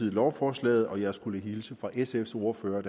lovforslaget og jeg skulle hilse fra sfs ordfører at